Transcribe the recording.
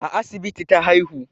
A asibiti ta haihu